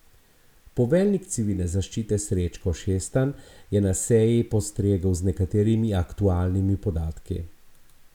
Poveljnik Civilne zaščite Srečko Šestan je na seji postregel z nekaterimi aktualnimi podatki.